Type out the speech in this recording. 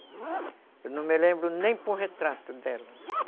Eu não me lembro nem por retrato dela.